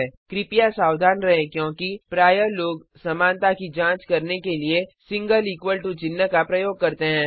कृपया सावधान रहें क्योंकि प्रायः लोग समानता की जांच करने के लिए सिंगल इक्वल टू चिन्ह का प्रयोग करते हैं